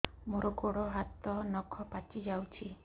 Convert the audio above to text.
ମୋର ଗୋଡ଼ ହାତ ନଖ ପାଚି ଯାଉଛି